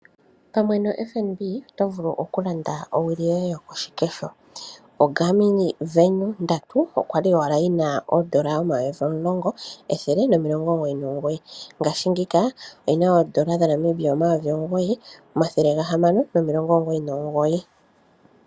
Ombaanga yaFNB oyili tayi gandja iipindi yowili yoGarmin Venu 3 kondando yili pevielela. Ndjoka kwali yina oondola dhaNamibia omayovi omulongo ethele limwe nomilongo omugoyi nomugoyi mongaashingeyi oyina omayi omugoyi omathele gahamano nomilongo omugoyi nomugoyi.